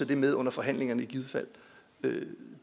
det med under forhandlingerne i givet fald